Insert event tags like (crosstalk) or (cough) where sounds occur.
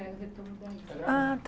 É o retorno da (unintelligible) Ah tá